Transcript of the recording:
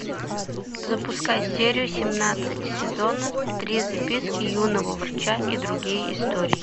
запускай серию семнадцать сезона три записки юного врача и другие истории